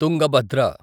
Tungabhadra